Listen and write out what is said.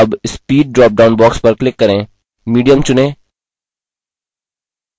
अब speed dropdown box पर click करें medium चुनें